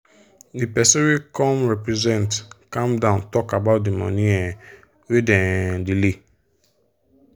the person wey come represent calm down talk about the money um wey them um delay.